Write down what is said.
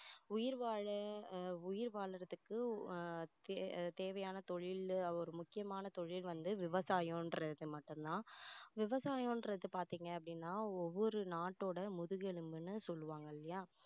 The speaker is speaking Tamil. உயிர் வாழ அஹ் உயிர் வாழுறதுக்கு அஹ் தே~தேவையான தொழில் ஒரு முக்கியமான தொழில் வந்து விவசாயன்றது மட்டும் தான் விவசாயன்றது பார்த்தீங்க அப்படின்னா ஒவ்வொரு நாட்டோட முதுகெலும்புன்னு சொல்லுவாங்க இல்லையா